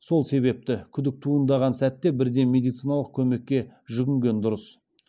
сол себепті күдік туындаған сәтте бірден медициналық көмекке жүгінген дұрыс